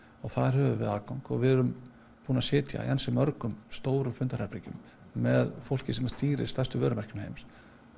þar höfum við aðgang og við erum búin að sitja í ansi mörgum stórum fundarherbergjum með fólki sem stýrir stærstu vörumerkjum heims